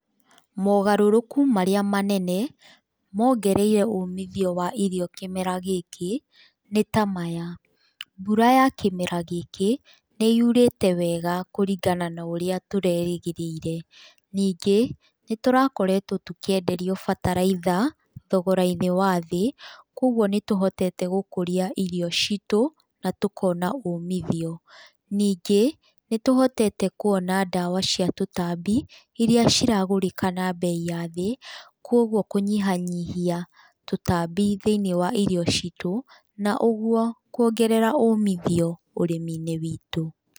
Mogarũrũku marĩa manene, mongereire umithio wa irio kĩmera gĩkĩ, nĩ ta maya; mbura ya kĩmera gĩkĩ nĩ yurĩte wega kũringana na ũrĩa tũrerĩgĩrĩire, ningĩ nĩ tũrakoretwo tũkĩenderio bataraitha thogora-inĩ wa thĩ. Koguo nĩ tũhotete gũkũria irio citũ na tũkona umithio, ningĩ nĩ tũhotete kuona ndawa cia tũtambi, iria ciragũrĩka na mbei ya thĩ, kogwo kũnyihanyihia tũtambi thĩinĩ wa irio citũ, na ũguo kũongerera umithio ũrĩmi-inĩ witũ.